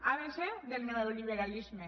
abecé del neoliberalisme